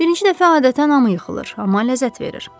Birinci dəfə adətən hamı yıxılır, amma ləzzət verir.